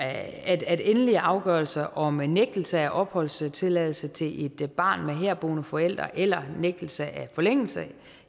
at at endelige afgørelser om nægtelse af opholdstilladelse til et barn med herboende forældre eller nægtelse af forlængelse